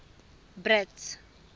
brits